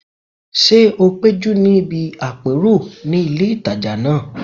Ṣé o péjú níbi àpérò ní ilé ìtajà náà?